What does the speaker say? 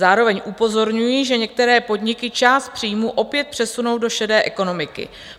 Zároveň upozorňují, že některé podniky část příjmů opět přesunou do šedé ekonomiky.